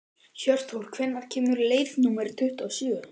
Hjörtþór, hvenær kemur leið númer tuttugu og sjö?